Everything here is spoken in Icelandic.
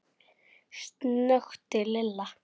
snökti Lilla.